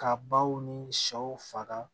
Ka baw ni sɛw faga